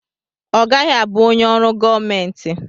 Ọ gaghị abụ onye ọrụ gọọmenti.